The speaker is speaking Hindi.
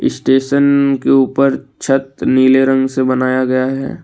स्टेशन के ऊपर छत नीले रंग से बनाया गया है।